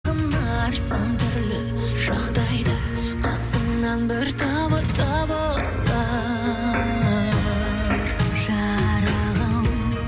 сан түрлі жағдайда қасымнан бір табы табылар жарығым